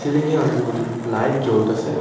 সিলিংয়ে অনেকগুলি লাইট জ্বলতেসে।